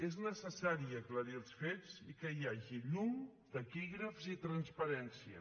és necessari aclarir els fets i que hi hagi llum taquígrafs i transparència